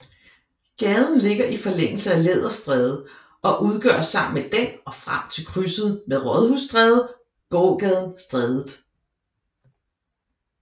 Gaden ligger i forlængelse af Læderstræde og udgør sammen med den og frem til krydset med Rådhusstræde gågaden Strædet